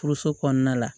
Furuso kɔnɔna la